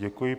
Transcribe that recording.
Děkuji.